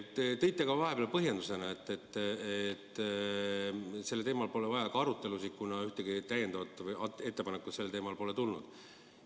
Te tõite vahepeal põhjendusena välja, et sellel teemal pole vaja arutelusid pidada, kuna ühtegi täiendavat ettepanekut sellel teemal pole tulnud.